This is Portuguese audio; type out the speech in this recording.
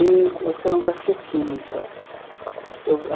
em oceanografia química. Eu